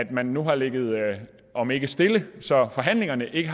man har ligget om ikke stille så har forhandlingerne ikke